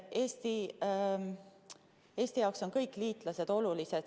Eesti jaoks on kõik liitlased olulised.